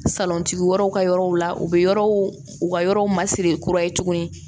Salontigi wɛrɛw ka yɔrɔw la u be yɔrɔw u ka yɔrɔw masiri kura ye tuguni